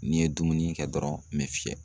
N'i ye dumuni kɛ dɔrɔn n me fiyɛ.